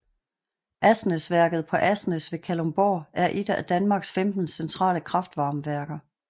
Asnæsværket på Asnæs ved Kalundborg er et af Danmarks 15 centrale kraftvarmeværker